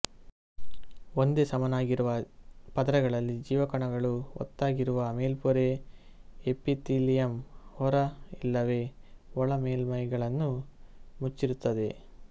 ಒಂದೇ ಸಮನಾಗಿರುವ ಪದರಗಳಲ್ಲಿ ಜೀವಕಣಗಳು ಒತ್ತಾಗಿರುವ ಮೇಲ್ಪೊರೆ ಎಪಿತೀಲಿಯಂ ಹೊರ ಇಲ್ಲವೆ ಒಳ ಮೇಲ್ಮೈಗಳನ್ನು ಮುಚ್ಚಿರುತ್ತದೆ